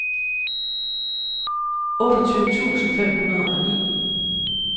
otteogtyve tusind fem hundrede og ni